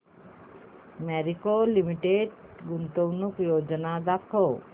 Marico limited गुंतवणूक योजना दाखव